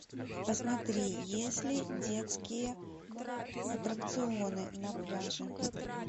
посмотри есть ли детские аттракционы на пляже